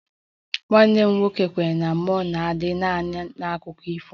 Nwanne m nwoke kwenyere na mmụọ ga-adị naanị n'akụkọ ifo